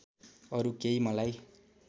अरु केही मलाई